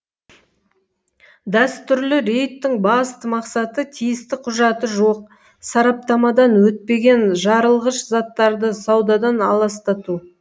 дәстүрлі рейдтің басты мақсаты тиісті құжаты жоқ сараптамадан өтпеген жарылғыш заттарды саудадан аластату